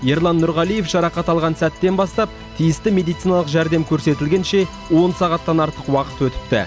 ерлан нұрғалиев жарақат алған сәттен бастап тиісті медициналық жәрдем көрсетілгенше он сағаттан артық уақыт өтіпті